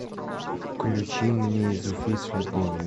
включи мне из уфы с любовью